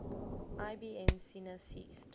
ibn sina ceased